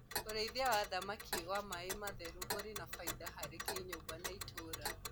ũrĩithi wa thamakĩ wa maĩ matheru uri baida harĩ kĩnyumba na ituura